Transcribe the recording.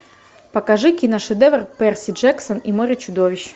покажи киношедевр перси джексон и море чудовищ